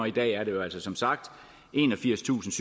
i dag altså som sagt er enogfirstusinde